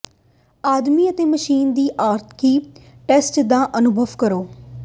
ਆਦਮੀ ਅਤੇ ਮਸ਼ੀਨ ਦੀ ਆਖਰੀ ਟੈਸਟ ਦਾ ਅਨੁਭਵ ਕਰੋ